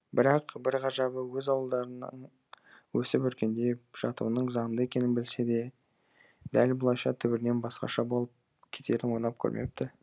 бірақ бір ғажабы өз ауылдарынан өсіп өркендеп жатуының заңды екенін білсе де дәл бұлайша түбірінен басқаша болып кетерін ойлап көрмепті